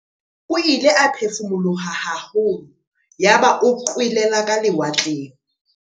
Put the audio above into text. O ile a phefumoloha haholo yaba o qwelela ka lewatleng.